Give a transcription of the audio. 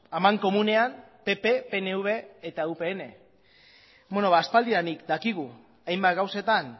amankomunean pp pnv eta upn bueno ba aspaldidanik dakigu hainbat gauzetan